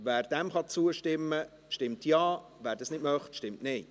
Wer dem zustimmen kann, stimmt Ja, wer dies nicht möchte, stimmt Nein.